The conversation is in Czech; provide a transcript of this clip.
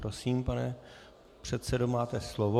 Prosím, pane předsedo, máte slovo.